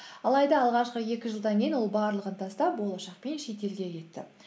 алайда алғашқы екі жылдан кейін ол барлығын тастап болашақ пен шетелге кетті